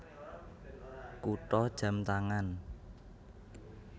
Kutha jam tangan